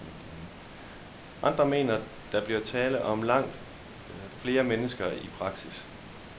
Andre mener, der bliver tale om langt flere mennesker i praksis.